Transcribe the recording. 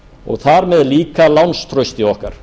og þar með líka lánstrausti okkar